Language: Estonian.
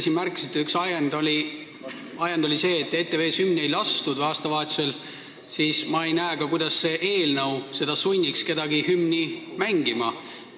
Te märkisite, et üks ajend oli see, et ETV-s ei lastud aastavahetusel hümni, aga ma ei näe, kuidas sunniks see eelnõu kedagi hümni mängima.